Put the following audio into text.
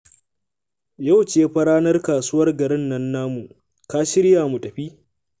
Yau ce fa ranar kasuwar garin nan namu, ka shirya mu tafi